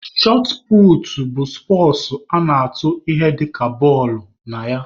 Shọt puutu bụ spọtsụ a na-atụ ihe dịka bọọlụ(shọt) na ya.